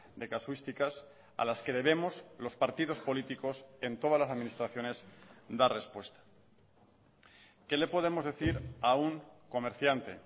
de casuísticas a las que debemos los partidos políticos en todas las administraciones dar respuesta qué le podemos decir a un comerciante